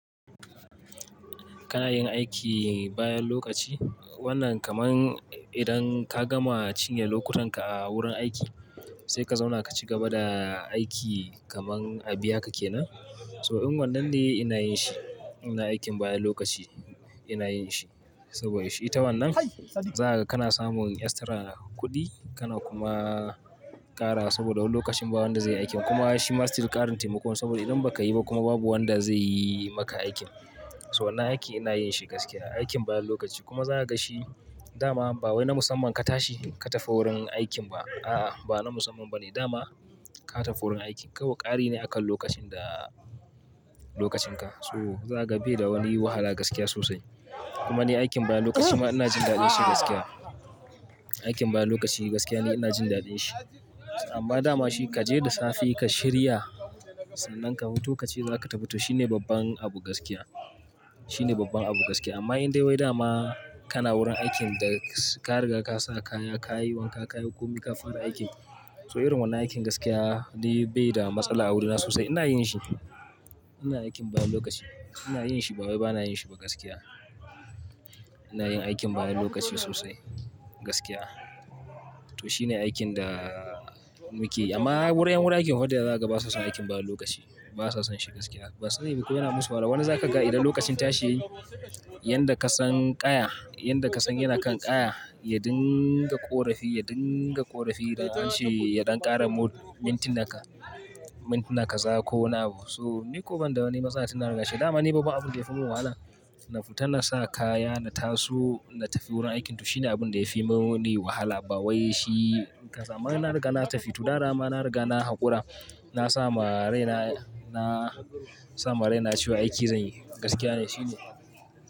Kana yin aiki bayan lokaci. Wannan kaman idan ka gama cinye lokutan ka a wurin aiki sai ka zauna ka cigaba da aiki kaman a biya kake nan. So in wannan ne ina yin shi. Ina aikin bayan lokaci ina yin shi saboda shi ta wannan za haga, kana samun extra kuɗi kana kuma ƙara saboda lokacin bawa wanda zai yi aikin. Kuma shi ma still ƙarin taimako ne saboda idan baka yi ba kuma babu wanda zai yi maka aikin. So wannan aikin ina yin shi gaskiya, aikin bayan lokaci kuma za ka ga shi dama ba wai na musamman ka tashi ka tafi wurin aikin ba. A'a, ba na musamman ba ne. Dama ka tafi wurin aiki kawai ƙari ne akan lokacin da, lokacin ka. So za haga bai da wani wahala gaskiya sosai. Kuma ni aikin bayan lokaci ma ina jin daɗin shi gaskiya. Aikin bayan lokaci gaskiya ni ina jin daɗin shi. Amma dama shi kaje da safe ka shirya sannan ka huto ka ce za ka tafi, to shine babban abu gaskiya. Shine babban abu gaskiya. Amma in dai wai dama kana wurin aikin da ka riga ka sa kaya, ka yi wanka, ka yi komi ka fara aikin so irin wannan aikin gaskiya ni bai da matsala a wurina sosai. Ina yin shi. Ina aikin bayan lokaci ina yin shi ba wai bana yin shi ba gaskiya. Ina yin aikin bayan lokaci sosai gaskiya. To shine aikin da muke yi. Amma wurin, wurin aiki fa dayawa za haga basa son aikin bayan lokaci. Basa son shi gaskiya. Ban sani ba ko yana musu wahala. Wani zaka ga idan lokacin tashi ya yi, yan da ka san kaya, yan da ka san yana kan kaya ya dinga ƙorafi, ya dinga ƙorafi da hanshi, ya ɗan ƙara mintuna ka, mintuna ka za ko wani abu. So ni ko ban da wani matsala ina tunda an riga shi. Dama ni babban abin da yafi mun wahala na fita na sa kaya na taso na tafi wurin aikin to shine abin da yafi mun wani wahala. Bawai shi, amma na riga na tafi, to dama na riga na hakura na sa ma raina cewa aiki zanyi, gaskiya to shine.